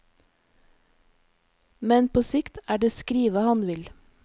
Men på sikt er det skrive han vil.